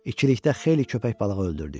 İkilikdə xeyli köpək balığı öldürdük.